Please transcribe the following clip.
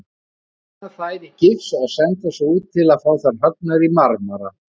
Vinna þær í gifs og senda svo út til að fá þær höggnar í marmara.